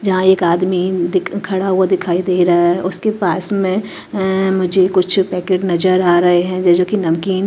जहां एक दिख आदमी खड़ा हुआ दिखाई दे रहा है उसके पास में अंअं मुझे कुछ पैकेट नजर आ रहे हैं जैसे की नमकीन ।